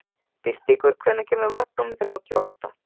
Birtingur, hvenær kemur vagn númer þrjátíu og átta?